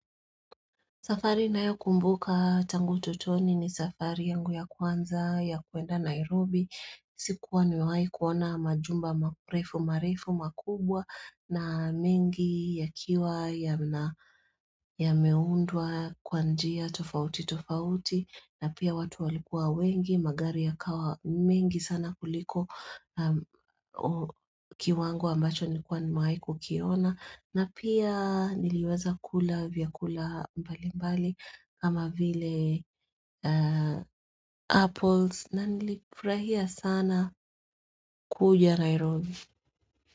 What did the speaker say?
Safari nayo kumbuka tangu utotoni ni safari yangu ya kwanza ya kwenda Nairobi sikuwa nimewahi kuona majumba marefu marefu makubwa na mengi ya kiwa ya meundwa kwanjia tofauti tofauti na pia watu walikua wengi magari ya kawa mengi sana kuliko kiwa ango ambacho nilikuwa nimewahiku kiona na pia niliweza kula vya kula mbali mbali kama vile apples na nilifurahia sana kuja Nairobi.